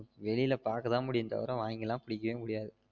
வெளியில பாக்க தான் முடியும் தவிர வாங்கி லாம் குடிக்கவே முடியாது